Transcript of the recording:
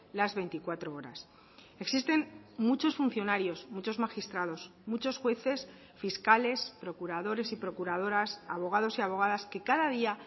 las veinticuatro horas existen muchos funcionarios muchos magistrados muchos jueces fiscales procuradores y procuradoras abogados y abogadas que cada día